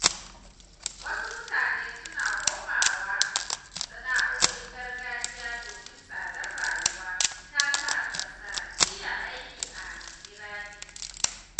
Wasu mutane suna komawa sana’o’in gargajiya domin tsadar rayuwa ta sa ba sa iya aiki a birane.